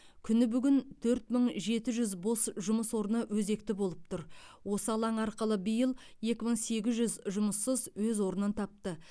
күні бүгін төрт мың жеті жүз бос жұмыс орны өзекті болып тұр осы алаң арқылы биыл екі мың сегіз жүз жұмыссыз өз орнын тапты